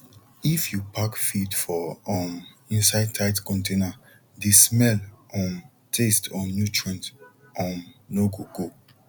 if you pack feed for um inside tight container de smell um taste or nutrients um no go go